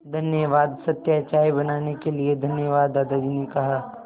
धन्यवाद सत्या चाय बनाने के लिए धन्यवाद दादाजी ने कहा